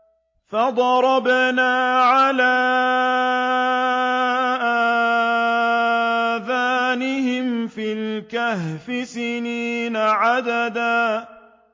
فَضَرَبْنَا عَلَىٰ آذَانِهِمْ فِي الْكَهْفِ سِنِينَ عَدَدًا